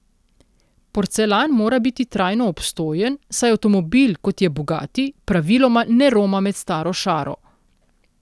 Porcelan mora biti trajno obstojen, saj avtomobil, kot je bugatti, praviloma ne roma med staro šaro.